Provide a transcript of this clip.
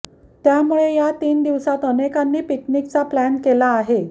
त्यामुळे या तीन दिवसात अनेकांनी पिकनिकचा प्लॅन केला आहे